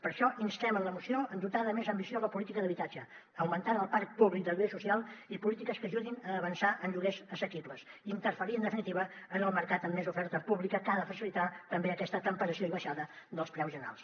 per això instem en la moció a dotar de més ambició la política d’habitatge augmentant el parc públic de lloguer social i amb polítiques que ajudin a avançar en lloguers assequibles interferint en definitiva en el mercat amb més oferta pública que ha de facilitar també aquest temperament i baixada dels preus generals